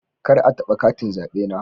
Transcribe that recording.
Kar a taba katin zabe na.